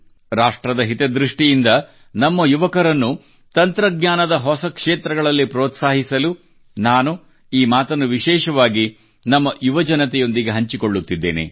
ರಾಷ್ಟ್ರದ ಹಿತದೃಷ್ಟಿಯಿಂದ ನಮ್ಮ ಯುವಕರನ್ನು ತಂತ್ರಜ್ಞಾನದ ಹೊಸ ಕ್ಷೇತ್ರಗಳಲ್ಲಿ ಪ್ರೋತ್ಸಾಹಿಸಲು ನಾನು ನಾನು ಈ ಮಾತನ್ನು ವಿಶೇಷವಾಗಿ ನಮ್ಮ ಯುವ ಜನತೆಯೊಂದಿಗೆ ಹಂಚಿಕೊಳ್ಳುತ್ತಿದ್ದೇನೆ